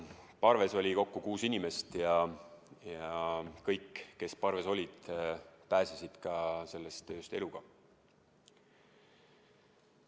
Parves oli kokku kuus inimest ja kõik, kes parves olid, pääsesid sellest ööst eluga.